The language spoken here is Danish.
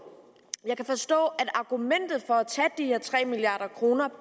jeg kan forstå at argumentet for at tage de her tre milliard kroner